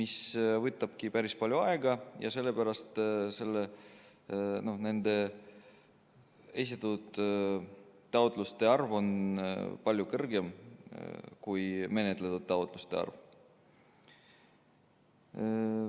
See aga võtab päris palju aega ja sellepärast ongi esitatud taotluste arv palju suurem kui menetletud taotluste arv.